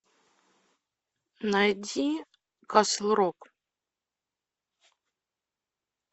найди касл рок